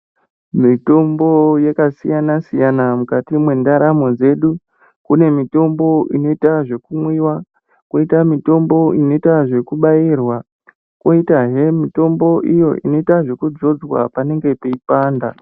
Mitombo yaka siyana siyana mukati me ndaramo dzedu kune mitombo inoita zveku mwiwa koita mitombo inoita zveku bairwa koitahe mitombo iyo inoitwa zveku dzodzwa panenge peyi panda.